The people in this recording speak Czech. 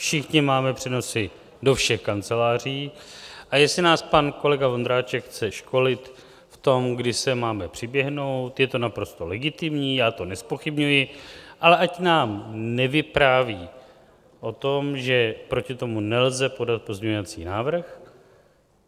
Všichni máme přenosy do všech kanceláří, a jestli nás pan kolega Vondráček chce školit v tom, kdy sem máme přiběhnout, je to naprosto legitimní, já to nezpochybňuji, ale ať nám nevypráví o tom, že proti tomu nelze podat pozměňovací návrh.